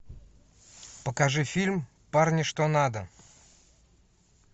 покажи фильм парни что надо